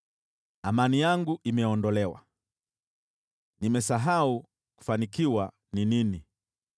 Amani yangu imeondolewa, nimesahau kufanikiwa ni nini.